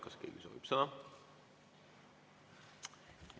Kas keegi soovib sõna?